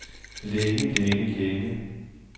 længe længe længe